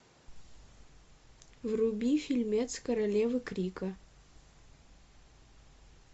вруби фильмец королевы крика